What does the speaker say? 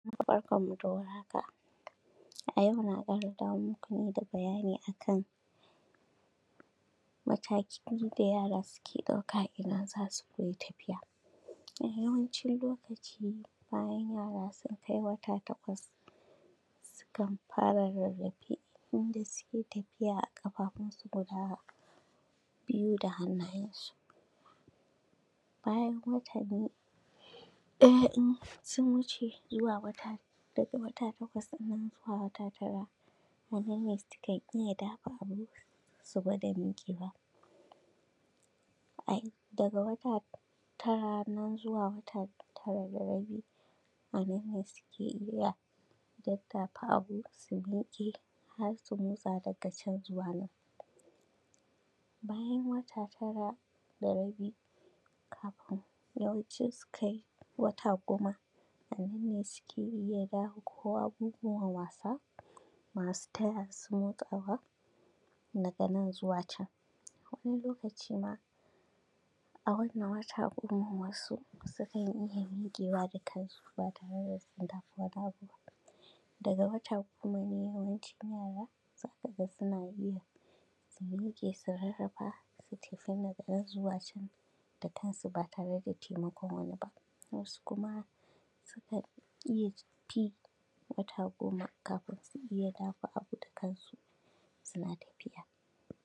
Barkanmu da warhaka, a yau na ƙara dawo muku ne da bayani a kan matakin da yara suke ɗauka idan za su koyi tafiya Yawancin lokaci bayan yara sun kai wata takwas su kan fara rarrafe inda suke tafiya a ƙafafunsu guda biyu da hannayensu bayan wata biyu; ɗaya in sun wuce zuwa wata daga wata takwas ɗin nan zuwa wata tara a nan ne su kan iya dafa abu su gwada miƙewa ai; daga wata tara nan zuwa wata tara da rabi a nan ne suke iya daddafa abu su miƙe har su motsa daga can zuwa nan, bayan wata tara da rabi kafin yawanci su kai wata goma a nan ne suke iya dafa ko abubuwan wasa masu taya su motsawa daga nan zuwa can wani lokaci ma a wannan wata goman wasu sukan iya miƙewa da kan su ba tare da sun dafa wani abu ba daga wata goma ne yawancin yara za ka ga suna iya su miƙe su rarrafa su tafi da daga nan zuwa can da kan su ba tare da taimakon wani ba, wasu kuma sukan iya fin wata goma kafin su iya dafa abu da kan su suna tafiya.